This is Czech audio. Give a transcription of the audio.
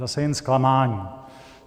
Zase jen zklamání.